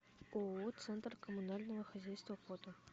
ооо центр коммунального хозяйства фото